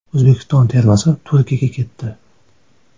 O‘zbekiston termasi Turkiyaga ketdi.